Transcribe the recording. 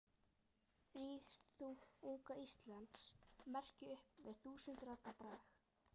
Rís þú, unga Íslands merki, upp með þúsund radda brag.